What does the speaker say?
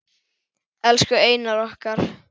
Elsku Einar okkar.